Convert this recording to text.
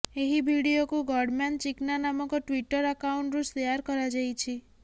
ଏହି ଭିଡିଓକୁ ଗଡମ୍ୟାନ୍ ଚିକ୍ନା ନାମକ ଟ୍ବିଟର ଆକାଉଣ୍ଟରୁ ସେୟାର କରାଯାଇଛି